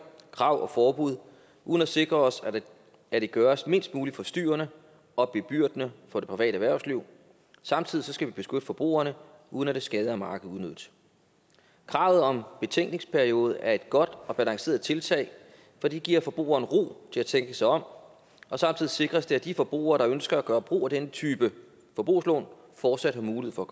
krav og forbud uden at sikre os at det gøres mindst muligt forstyrrende og bebyrdende for det private erhvervsliv samtidig skal vi beskytte forbrugerne uden at det skader markedet unødigt kravet om betænkningsperiode er et godt og balanceret tiltag for det giver forbrugeren ro til at tænke sig om og samtidig sikres det at de forbrugere der ønsker at gøre brug af denne type forbrugslån fortsat har mulighed for